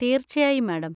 തീർച്ചയായും, മാഡം.